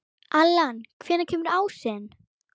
Allan, hvenær kemur ásinn?